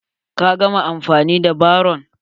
Ka gama anfani da barron?